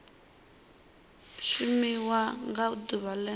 shumiwa nga ḓuvha o ḽeneo